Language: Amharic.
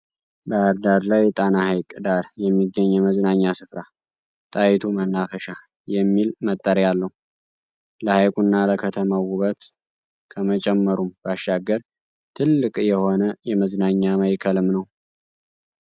ባህር ዳር ላይ፣ ጣና ሐይቅ ዳር የሚገኝ የመዝናኛ ስፍራ “ጣይቱ መናፈሻ” የሚል መጠሪያ አለው። ለሐይቁና ለከተማው ውበት ከመጨመሩም ባሻገር ትልቅ የሆነ የመዝናኛ ማእከልም ነው።